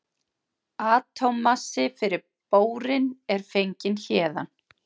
Atómmassi fyrir bórín er fenginn héðan.